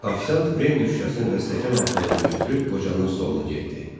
Ofisiant brendi şüşəsini və stəkan altlığını götürüb qocanın stoluna getdi.